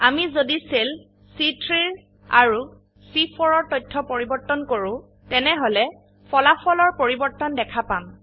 আমি যদি সেল চি3 আৰু চি4 এৰ তথ্য পৰিবৰ্তন কৰো তেনেহলে ফলাফল এৰ পৰিবৰ্তন দেখা পাম